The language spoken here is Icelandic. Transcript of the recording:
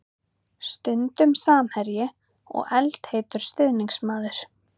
Stundum samherji og eldheitur stuðningsmaður.